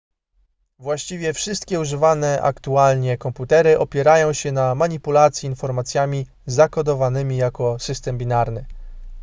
właściwie wszystkie używane aktualnie komputery opierają się na manipulacji informacjami zakodowanymi jako system binarny